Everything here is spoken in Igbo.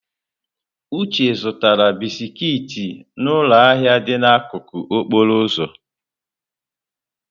Uche zụtara bisiki n'ụlọ ahịa dị n'akụkụ okporo ụzọ.